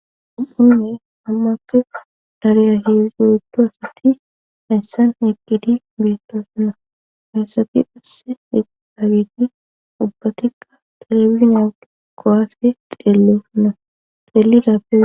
u7inne hammate dareya heezdzo7ddu asati eyssan heqgidi beettosunna heyssabi passe heda gedi ubbatikka diribinyad kowaase xeellesunna xeellidappe